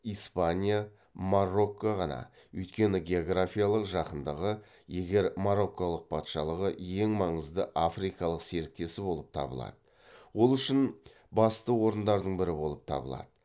испания марокко ғана өйткені географиялық жақындығы егер мороккалық патшалығы ең маңызды африкалық серіктесі болып табылады ол үшін басты орындардың бірі болып табылады